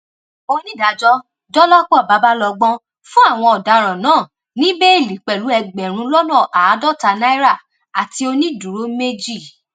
onídàájọ dọlọpọ babalọgbọn fún àwọn ọdaràn náà ní bẹẹlí pẹlú ẹgbẹrún lọnà àádọta náírà àti onídùúró méjì